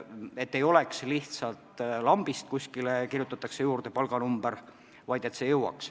Ei tohi olla nii, et lihtsalt lambist kirjutatakse kuskile palganumber, see peab ka teoks saama.